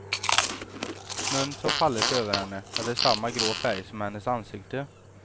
Snön som fallit över henne hade samma grå färg som hennes ansikte.